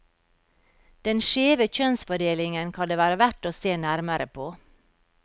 Den skjeve kjønnsfordelingen kan det være verdt å se nærmere på.